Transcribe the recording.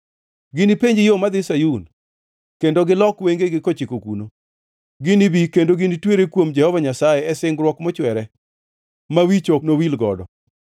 Ginipenj yo madhi Sayun kendo gilok wengegi kochiko kuno. Ginibi kendo ginitwere kuom Jehova Nyasaye e singruok mochwere, ma wich ok nowil godo.